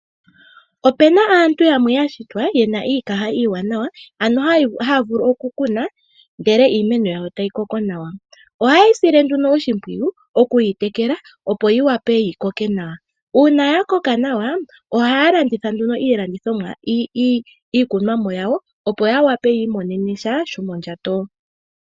Opu na aantu yamwe ya shitwa ye na iikaha iiwanawa, ano haya vulu okukuna ndele iimeno yawo tayi koko nawa. Ohaye yi sile nduno oshimpwiyu, okuyi tekela, opo yi wape yi koke nawa. Uuna ya koka nawa ohaa landitha nduno iikunomwa yawo, opo ya wape yi imonene sha shomondjato.